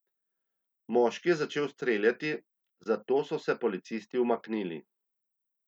Moški je začel streljati, zato so se policisti umaknili.